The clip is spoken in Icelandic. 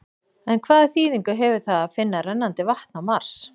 En hvaða þýðingu hefur það að finna rennandi vatn á Mars?